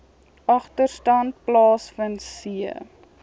agterstand plaasvind c